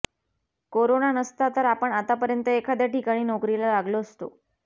corona नसता तर आपण आतापर्यंत एखाद्या ठिकाणी नोकरीला लागतो असतो